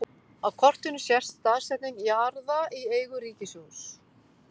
Á kortinu sést staðsetning jarða í eigu ríkissjóðs.